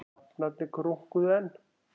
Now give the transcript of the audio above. Hrafnarnir krunkuðu enn.